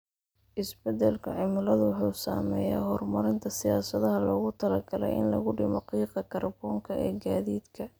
Isbeddelka cimiladu wuxuu saameeyaa horumarinta siyaasadaha loogu talagalay in lagu dhimo qiiqa kaarboonka ee gaadiidka.